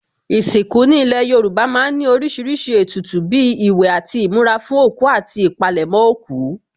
Ìsìnkú ní ilé Yorùbá má ń ní oríṣiríṣi ètùtù bíi ìwẹ̀ àti ìmura fún òkú àti ìpalẹ̀mọ́ òkú